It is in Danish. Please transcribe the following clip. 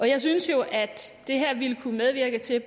jeg synes jo at det her ville kunne medvirke til